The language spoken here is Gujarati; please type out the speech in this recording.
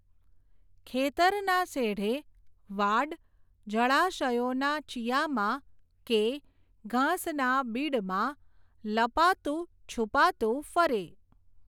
ખેતરના શેઢે, વાડ, જળાશયોના ચીયામાં, કે, ઘાસના બીડમાં, લપાતું, છૂપાતું, ફરે.